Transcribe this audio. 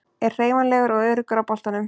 Er hreyfanlegur og öruggur á boltanum.